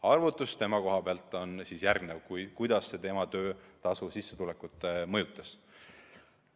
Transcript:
Arvutus selle kohta, kuidas see tema töötasu, sissetulekut mõjutas, on järgmine.